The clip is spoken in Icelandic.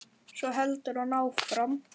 Svo heldur hann áfram